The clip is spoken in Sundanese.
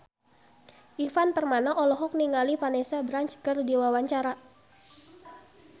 Ivan Permana olohok ningali Vanessa Branch keur diwawancara